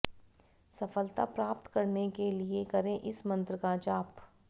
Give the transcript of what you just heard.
सफलता प्राप्त करने के लिए करें इस मंत्र का जाप